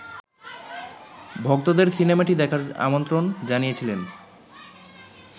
ভক্তদের সিনেমাটি দেখার আমন্ত্রণ জানিয়েছিলেন